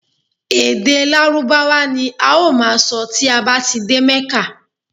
Ede lárúbáwá ni a ó maa sọ ti a ba ti de mẹ́kà